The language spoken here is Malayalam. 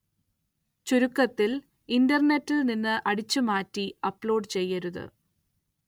ചുരുക്കത്തില്‍ ഇന്റര്‍നെറ്റില്‍ നിന്ന് അടിച്ചു മാറ്റി അപ്‌ലോഡ് ചെയ്യരുത്